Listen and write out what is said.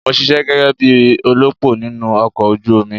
Mò ń ṣisẹ́ gẹ́gẹ́ bí olópò nínú ọkọ̀ ojú omi.